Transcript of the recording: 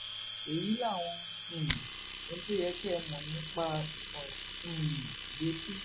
èyí làwọn um ohun tó yẹ kẹ ẹ mọ nípa ìtàn um ìgbésí